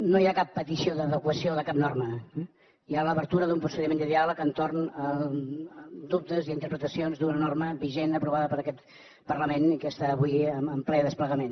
no hi ha cap petició d’adequació de cap norma eh hi ha l’obertura d’un procediment de diàleg entorn de dubtes i interpretacions d’una norma vigent aprovada per aquest parlament i que està avui en ple desplegament